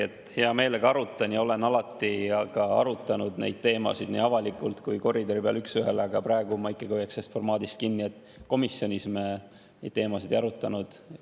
Jällegi, hea meelega arutan ja olen alati arutanud neid teemasid nii avalikult kui ka koridori peal üks ühele, aga praegu ma ikkagi hoiaks kinni sellest formaadist, et komisjonis me neid teemasid ei arutanud.